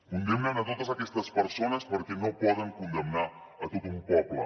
condemnen totes aquestes persones perquè no poden condemnar tot un poble